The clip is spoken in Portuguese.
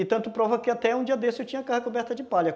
E tanto prova que até um dia desse eu tinha a casa coberta de palha.